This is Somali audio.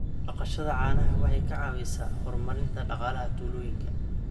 Dhaqashada caanaha waxay ka caawisaa horumarinta dhaqaalaha tuulooyinka.